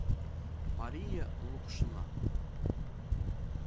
мария лукшина